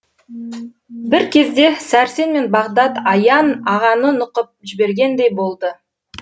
бір кезде сәрсен мен бағдат аян ағаны нұқып жібергендей болды